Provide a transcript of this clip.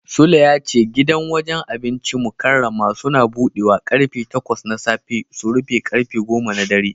Sule ya ce gidan wajen abincin Mukarramah Suns budewa karfe takwas na safe su rufe karfe goma na dare.